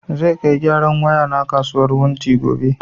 Zai kai gyaran waya na a kasuwar wunti gobe